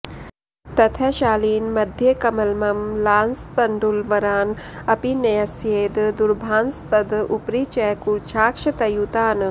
ततः शालीन् मध्येकमलममलांस्तण्डुलवरान् अपि न्यस्येद् दर्भांस्तद् उपरि च कूर्चाक्षतयुतान्